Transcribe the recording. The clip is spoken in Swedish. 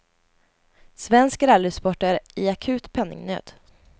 Svensk rallysport är i akut penningnöd.